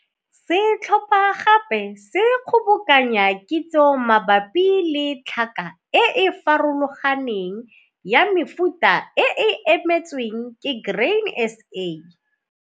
Setlhopha gape se kgobokanya kitso mabapi le tlhaka e e farologaneng ya mefuta e e emetsweng ke Grain SA.